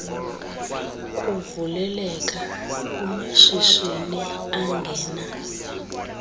kuvuleleka kumashishini angena